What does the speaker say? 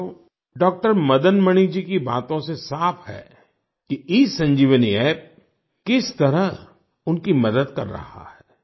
साथियो डॉक्टर मदन मणि जी की बातों से साफ़ है कि ईसंजीवनी अप्प किस तरह उनकी मदद कर रहा है